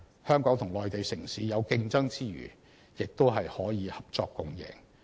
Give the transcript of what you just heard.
香港與內地城市有競爭之餘，也可合作共贏。